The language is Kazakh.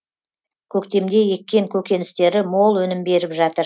көктемде еккен көкөністері мол өнім беріп жатыр